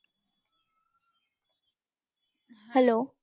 Hello.